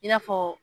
I n'a fɔ